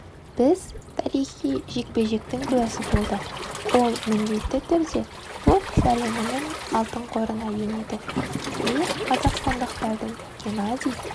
біз тарихи жекпе-жектің куәсі болдық ол міндетті түрде бокс әлемінің алтын қорына енеді мен қазақстандықтардың геннадий